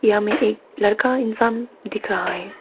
हमे एक लड़का इंसान दिख रहा है।